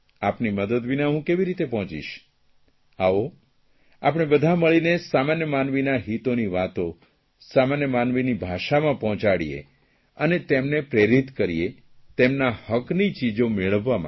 આપની મદદ વિના હું કેવી રીતે પહોંચીશ આવો આપણે બધાં મળીને સામાન્ય માનવીના હિતોની વાતો સામાન્ય માનવીની ભાષામાં પહોંચાડીએ અને તેમને પ્રેરિત કરીએ તેમના હકની ચીજો મેળવવા માટે